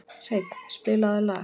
Hreinn, spilaðu lag.